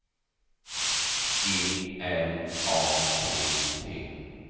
G L A T T